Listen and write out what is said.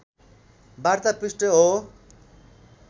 वार्ता पृष्ठ हो